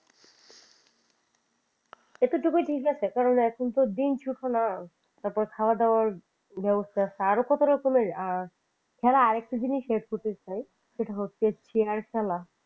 এতোটুকুই ঠিক আছে কারণ এখন তো দিন ছোট না তারপর খাওয়া দাওয়ার ব্যবস্থা আছে আরো কত রকমের আর এছাড়া আর একটা জিনিস add করতে চাই সেটা হচ্ছে চেয়ার খেলা।